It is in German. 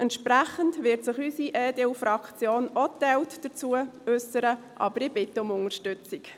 Entsprechend wird sich unsere EDU-Fraktion auch geteilt dazu äussern, aber ich bitte um Unterstützung.